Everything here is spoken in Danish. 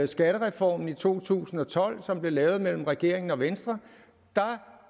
skattereformen i to tusind og tolv som blev lavet mellem regeringen og venstre